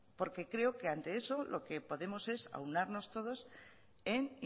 porque creo que ante eso lo que podemos es aunarnos todos en